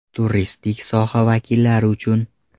Turistik soha vakillari uchun .